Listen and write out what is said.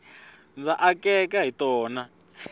ndza akeka hi tona